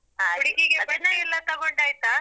ಎಲ್ಲ ತಗೊಂಡಾಯ್ತಾ?